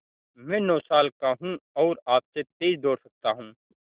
मैं नौ साल का हूँ और आपसे तेज़ दौड़ सकता हूँ